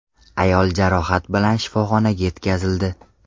Ayol jarohat bilan shifoxonaga yetkazildi.